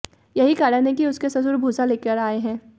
यही कारण है कि उसके ससुर भूसा लेकर आए हैं